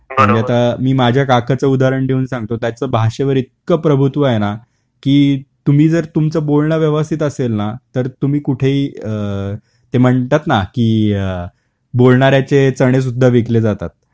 म्हणजे आता मी माझ्या काकाच उदाहरण देऊन सांगतो त्याच भाषेवर इतक प्रभुत्व आहे ना की तुम्ही जर तुमच बोलण व्यवस्थित असेल ना तर तुम्ही कुठेही अ ते म्हणतात ना की अ बोलणाऱ्याचे चणे सुद्धा विकले जातात.